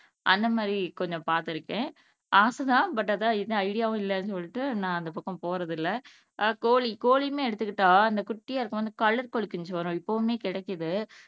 அந்த மாதிரி கொஞ்சம் பாத்துருக்கேன் ஆசை தான் ஆனா அதான் எந்த ஐடியாவும் இல்லை அப்படின்னு சொல்லிட்டு நான் அந்த பக்கம் போறதில்லை அஹ் கோழி கோழியுமே எடுத்துகிட்டா அந்த குட்டியா இருக்குமே அந்த கலர் கோழிக்குஞ்சு வரும் இப்பவுமே கிடைக்குது